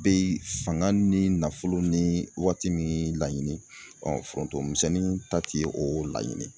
Bɛ fanga, ni nafolo, ni waati min laɲini, forontomisɛnnin ta ti o laɲini.